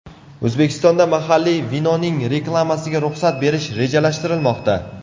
O‘zbekistonda mahalliy vinoning reklamasiga ruxsat berish rejalashtirilmoqda.